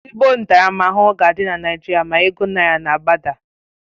Ezigbo ntaramahụhụ ga adị na Naijiria ma ego naira na agbada